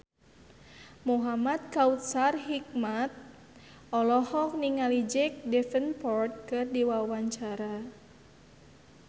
Muhamad Kautsar Hikmat olohok ningali Jack Davenport keur diwawancara